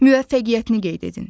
Müvəffəqiyyətini qeyd edin.